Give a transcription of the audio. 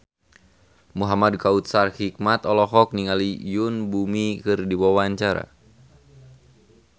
Muhamad Kautsar Hikmat olohok ningali Yoon Bomi keur diwawancara